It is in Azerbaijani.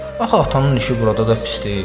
Axı atanın işi burada da pis deyil.